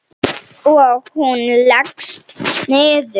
Og hún leggst niður.